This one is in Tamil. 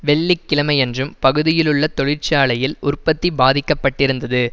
வெள்ளிக்கிழமையன்றும் பகுதியிலுள்ள தொழிற்சாலையில் உற்பத்தி பாதிக்க பட்டிருந்தது